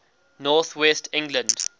north west england